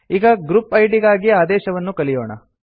ಈಗ group ID ಗಾಗಿ ಆದೇಶವನ್ನು ಕಲಿಯೋಣ